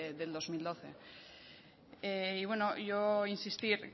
del dos mil doce y bueno yo insistir